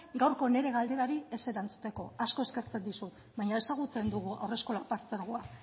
gaurko nire galderari ez erantzuteko asko eskertzen dizut baina ezagutzen dugu haurreskolak partzuergoa